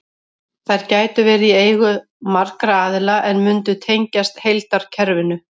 Þær gætu verið í eigu margra aðila en mundu tengjast heildarkerfinu.